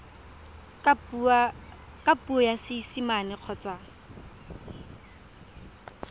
ka puo ya seesimane kgotsa